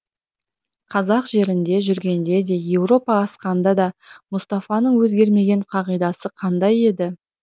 қазақ жерінде жүргенде де еуропа асқанда да мұстафаның өзгермеген қағидасы қандай еді